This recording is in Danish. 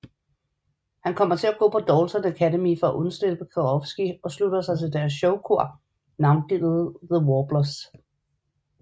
Han kommer til gå på Dalton Academy for at undslippe Karofsky og slutter sig til deres showkor navngivet The Warblers